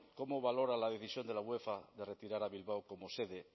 cómo valora la decisión de la uefa de retirar a bilbao como sede